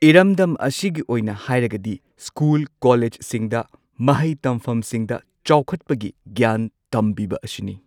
ꯏꯔꯝꯗꯝ ꯑꯁꯤꯒꯤ ꯑꯣꯏꯅ ꯍꯥꯏꯔꯒꯗꯤ ꯁ꯭ꯀꯨꯜ ꯀꯣꯂꯦꯖꯁꯤꯡꯗ ꯃꯍꯩ ꯇꯝꯐꯝꯁꯤꯡꯗ ꯆꯥꯎꯈꯠꯄꯒꯤ ꯒ꯭ꯌꯥꯟ ꯇꯝꯕꯤꯕ ꯑꯁꯤꯅꯤ꯫